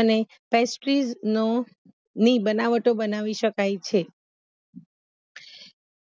અને ફ્રેસ્ટીઝ નો ની બનાવટો બનાવી શકાય છે